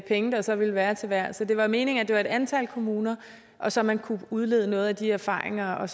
penge der så ville være til hver så det var meningen at det var et antal kommuner så man kunne udlede noget af de erfaringer og